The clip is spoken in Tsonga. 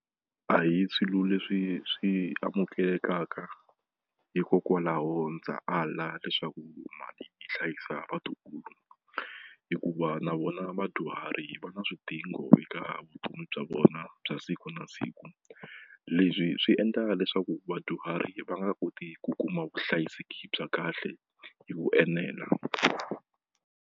A hi swilo leswi swi amukelekaka hikokwalaho ndza ala leswaku mali yi hlayisa vatukulu hikuva na vona vadyuhari va na swidingo eka vutomi bya vona bya siku na siku leswi swi endla leswaku vadyuhari va nga koti ku kuma vuhlayiseki bya kahle hi ku enela.